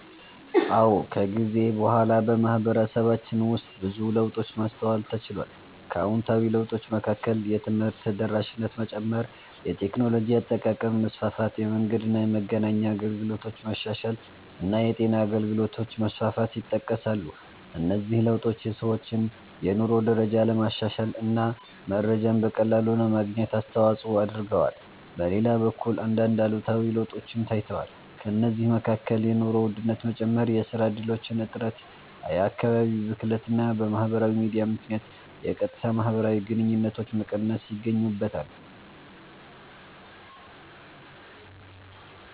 አዎ፣ ከጊዜ በኋላ በማህበረሰባችን ውስጥ ብዙ ለውጦችን ማስተዋል ተችሏል። ከአዎንታዊ ለውጦች መካከል የትምህርት ተደራሽነት መጨመር፣ የቴክኖሎጂ አጠቃቀም መስፋፋት፣ የመንገድና የመገናኛ አገልግሎቶች መሻሻል እና የጤና አገልግሎቶች መስፋፋት ይጠቀሳሉ። እነዚህ ለውጦች የሰዎችን የኑሮ ደረጃ ለማሻሻል እና መረጃን በቀላሉ ለማግኘት አስተዋጽኦ አድርገዋል። በሌላ በኩል አንዳንድ አሉታዊ ለውጦችም ታይተዋል። ከእነዚህ መካከል የኑሮ ውድነት መጨመር፣ የሥራ እድሎች እጥረት፣ የአካባቢ ብክለት እና በማህበራዊ ሚዲያ ምክንያት የቀጥታ ማህበራዊ ግንኙነቶች መቀነስ ይገኙበታል።